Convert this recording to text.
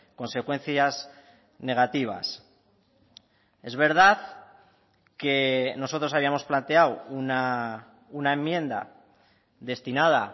consecuencias negativas es verdad que nosotros habíamos planteado una enmienda destinada